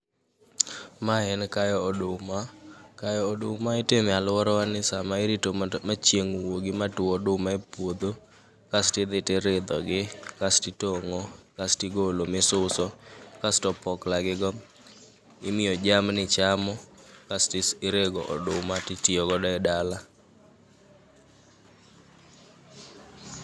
Ma en kayo oduma, kayo oduma itime alworawa ni sama irito mondo ma chieng' wuogi ma two oduma e puodho. Kasti dhi tiridho gi, kasti tong'o, kasti golo misuso, kasto opokla gigo imiyo jamni chamo. Kasti is rego oduma titiyo godo e dala.